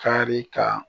Kari ka